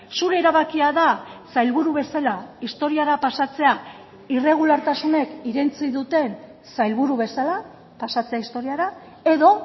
zure erabakia da sailburu bezala historiara pasatzea irregulartasunek irentsi duten sailburu bezala pasatzea historiara edo